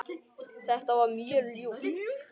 Þetta var mjög ljúft.